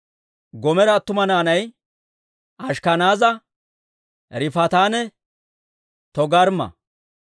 Goomera attuma naanay Ashkkanaaza, Riifaatanne Togarmma.